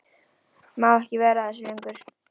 Má ekki vera að þessu lengur.